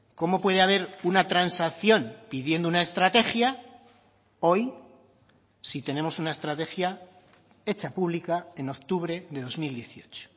cómo puede haber una transacción pidiendo una estrategia hoy si tenemos una estrategia hecha pública en octubre de dos mil dieciocho